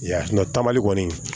Ya ta mali kɔni